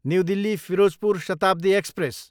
new Delhi, Ferozepur Shatabdi express